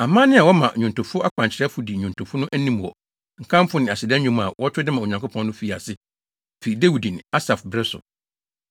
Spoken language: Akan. Amanne a wɔma nnwontofo akwankyerɛfo di nnwontofo no anim wɔ nkamfo ne aseda nnwom a wɔto de ma Onyankopɔn no fii ase fi Dawid ne Asaf bere so.